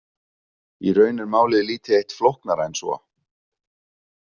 Í raun er málið lítið eitt flóknara en svo.